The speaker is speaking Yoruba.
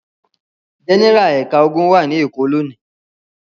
Gẹ́nẹ́rà ẹ̀ka ogun wà ní Èkó lónìí.